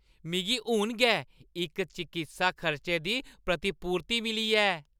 मिगी हून गै इक चकित्सा खर्चे दी प्रतिपूर्ति मिली ऐ।